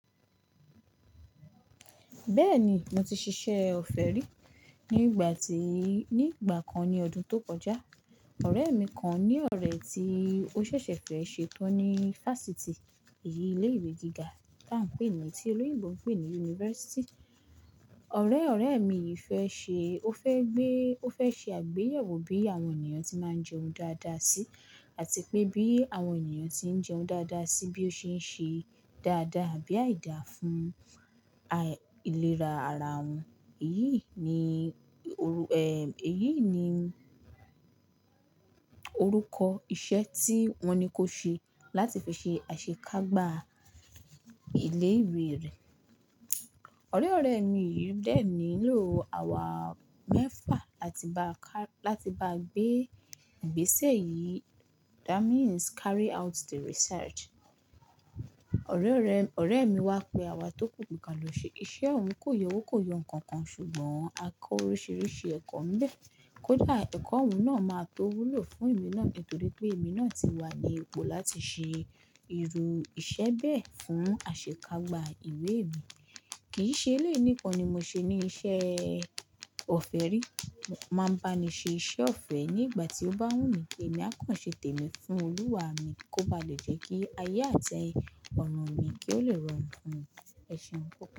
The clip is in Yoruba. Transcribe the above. Bẹ́ẹ̀ni, mo ti ṣiṣẹ́ ọ̀fẹ́ rí, ni igba ti Ní ìgbà kan ní ọdún tó kọjá, ọ̀rẹ́ mi kan ní ọ̀rẹ́ tí ó ṣẹ̀ṣẹ̀ fẹ́ ṣe tán ní Fásítì, èyí ilé ìwé gíga tí à ń pè ní tí olóyèbo ń pè ní University. Ọ̀rẹ́ ọ̀rẹ́ mi yìí fẹ́ ṣe àgbéyẹ̀wò bí àwọn ènìyàn tí máa ń jẹun dáadáa sí àti pé bí àwọn ènìyàn tí ń jẹun dáadáa sí bí ó ṣe ń ṣe dáadáa àbí àìda fún àì ilera ara wọn. Èyí ni orúkọ iṣẹ́ tí wọ́n ní kó ṣe láti fi ṣe àṣekágbá ilé ìwé rẹ̀. Ọ̀rẹ́ ọ̀rẹ́ mi yìí dẹ ni lo àwa mẹ́fà láti bá gbé ìgbésẹ yìí, that means carry out the research. Ọ̀rẹ́ mi wá pe àwa tó kù bí i ka lọ ṣe iṣẹ́, òun kò yọ owó kò yọ ǹkan kan ṣùgbọ́n a kọ oríṣiríṣi ẹ̀kọ́ níbẹ̀. Kódà ẹ̀kọ́ òun náà máa tó wúlò fún èmi náà nítorí pé èmi náà ti wà ní ipò láti ṣe irú iṣẹ́ bẹ́ẹ̀ fún àṣekágbá ìwé mi. Kìí ṣe eléyìí nikan ni mo ṣe ní iṣẹ́ ọ̀fẹ́ rí. Wọ́n máa ń bá mi ṣe iṣẹ́ ọ̀fẹ́ ní ìgbà tí ó bá wù mí pé èmi á kàn ṣe tèmi fún Olúwa mi kó bá lè jẹ́ kí ayé àti ọ̀nà mi kí ó le rọrùn fún mi. Ẹ̀ṣẹ̀ pupọ.